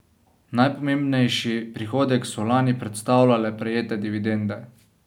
Najpomembnejši prihodek so lani predstavljale prejete dividende.